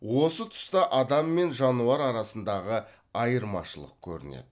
осы тұста адам мен жануар арасындағы айырмашылық көрінеді